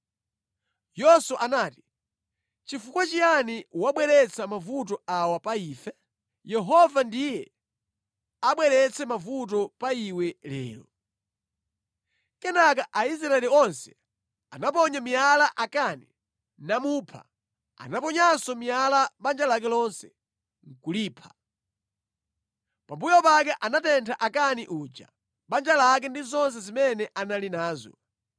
Yoswa anati “Chifukwa chiyani wabweretsa mavuto awa pa ife? Yehova ndiye abweretse mavuto pa iwe lero.” Kenaka Aisraeli onse anaponya miyala Akani, namupha. Anaponyanso miyala banja lake lonse, nʼkulipha. Pambuyo pake anatentha Akani uja, banja lake ndi zonse zimene anali nazo.